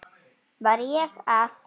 Var ég það?